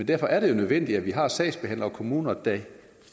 derfor er det jo nødvendigt at vi har sagsbehandlere i kommunerne der